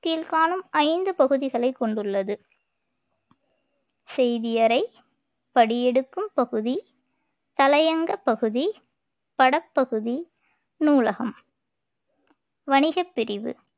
கீழ்காணும் ஐந்து பகுதிகளை கொண்டுள்ளது செய்தியறை படியெடுக்கும் பகுதி தலையங்கப் பகுதி படப்பகுதி நூலகம் வணிகப் பிரிவு